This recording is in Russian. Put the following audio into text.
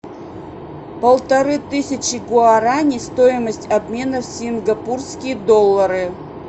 полторы тысячи гуарани стоимость обмена в сингапурские доллары